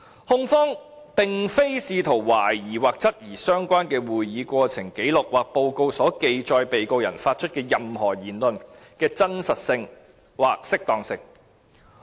"控方並非試圖懷疑或質疑相關的會議過程紀錄或報告所記錄被告人發出的任何言論的真實性或適當性。